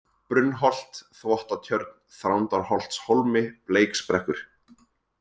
Brunnholt, Þvottatjörn, Þrándarholtshólmi, Bleiksbrekkur